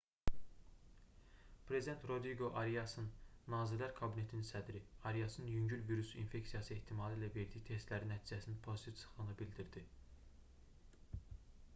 prezident rodriqo ariasın nazirlər kabinetinin sədri ariasın yüngül virus infeksiyası ehtimalı ilə verdiyi testlərin nəticəsinin pozitiv çıxdığını bildirdi